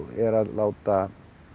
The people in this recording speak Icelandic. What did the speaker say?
er að láta